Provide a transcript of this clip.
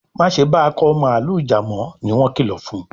Ma ṣe ba Akọ mààlúù já mọ! ní wón kìlọ fún.